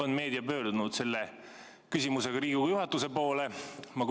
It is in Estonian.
Kas meedia on pöördunud selle küsimusega Riigikogu juhatuse poole?